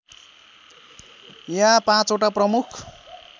यहाँ पाँचवटा प्रमुख